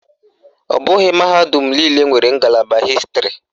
Ọ bụghị mahadum niile nwere ngalaba Hịstịrị